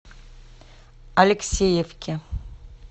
алексеевке